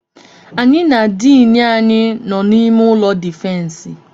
Anyị na diini anyị nọ n'ime ụlọ difensi.